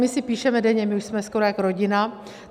My si píšeme denně, my už jsme skoro jak rodina.